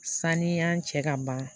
Saniya cɛ ka ban